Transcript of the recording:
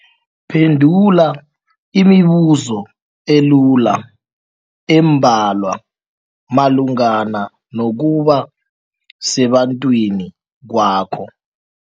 Phendula imibuzo elula eembalwa malungana nokuba sebantwini kwakho.